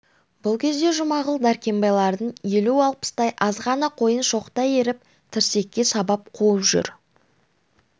бұл кезде жұмағұл дәркембайлардың елу-алпыстай азғана қойын шоқтай иіріп тірсекке сабап қуып жүр